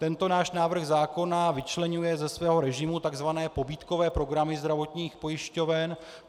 Tento náš návrh zákona vyčleňuje ze svého režimu tzv. pobídkové programy zdravotních pojišťoven.